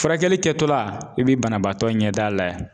Furakɛli kɛtɔla i bɛ banabaatɔ ɲɛ d'a lajɛ